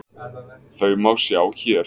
Þau má sjá hér.